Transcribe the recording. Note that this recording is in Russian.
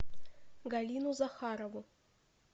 галину захарову